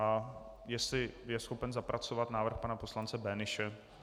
A jestli je schopen zapracovat návrh pana poslance Böhnische.